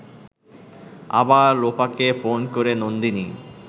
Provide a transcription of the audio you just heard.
আবার লোপাকে ফোন করে নন্দিনী